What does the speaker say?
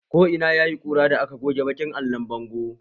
Ko ina yayi ƙura da aka goge baƙin allon bango